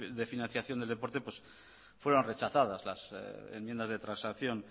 de financiación del deporte fueron rechazadas las enmiendas de transacción